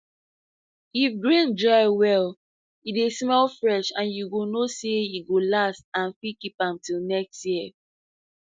if grain dry well e dey smell fresh and you go know say e go last and fit keep am till next next year